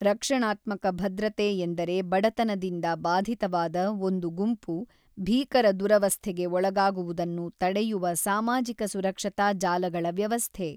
ರಕ್ಷಣಾತ್ಮಕ ಭದ್ರತೆ ಎಂದರೆ ಬಡತನದಿಂದ ಬಾಧಿತವಾದ ಒಂದು ಗುಂಪು ಭೀಕರ ದುರವಸ್ಥೆಗೆ ಒಳಗಾಗುವುದನ್ನು ತಡೆಯುವ ಸಾಮಾಜಿಕ ಸುರಕ್ಷತಾ ಜಾಲಗಳ ವ್ಯವಸ್ಥೆ.